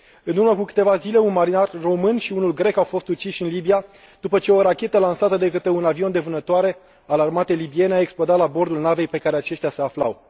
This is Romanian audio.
În urmă cu câteva zile, un marinar român și unul grec au fost uciși în Libia, după ce o rachetă lansată de către un avion de vânătoare al armatei libiene a explodat la bordul navei pe care aceștia se aflau.